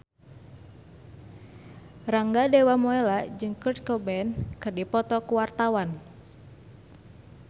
Rangga Dewamoela jeung Kurt Cobain keur dipoto ku wartawan